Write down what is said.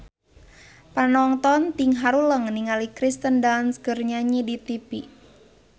Panonton ting haruleng ningali Kirsten Dunst keur nyanyi di tipi